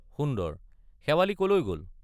সুন্দৰ— শেৱালি কলৈ গল?